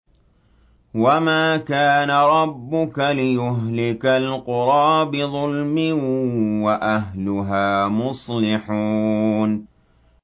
وَمَا كَانَ رَبُّكَ لِيُهْلِكَ الْقُرَىٰ بِظُلْمٍ وَأَهْلُهَا مُصْلِحُونَ